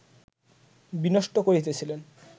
বিনষ্ট করিতেছিলেন